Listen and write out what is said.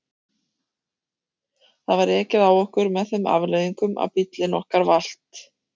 Það var ekið á okkur með þeim afleiðingum að bíllinn okkar valt.